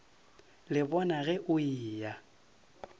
le bona ge o eya